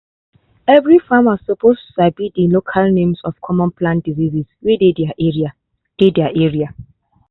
every farmer suppose sabi the local names of common plant diseases wey dey their area. dey their area.